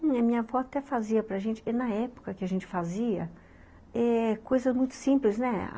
Minha avó até fazia para gente, e na época que a gente fazia, eh, coisas muito simples, né?